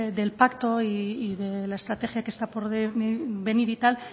del pacto y de la estrategia que está por venir y tal